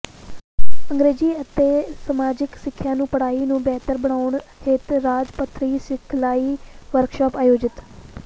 ਅੰਗਰੇਜੀ ਅਤੇ ਸਮਾਜਿਕ ਸਿੱਖਿਆ ਦੀ ਪੜਾਈ ਨੂੰ ਬਿਹਤਰ ਬਣਾਉਣ ਹਿੱਤ ਰਾਜ ਪੱਧਰੀ ਸਿਖਲਾਈ ਵਰਕਸ਼ਾਪ ਆਯੋਜਿਤ